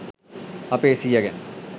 අපේ සීය ගැන